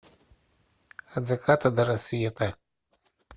от заката до рассвета